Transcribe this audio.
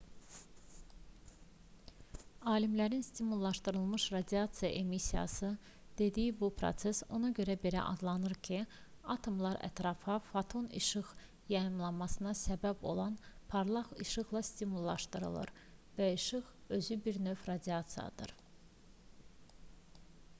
alimlərin stimullaşdırılmış radiasiya emissiyası dediyi bu proses ona görə belə adlanır ki atomlar ətrafa foton işıq yayılmasına səbəb olan parlaq işıqla stimullaşdırılır və işıq özü bir növ radiasiyadır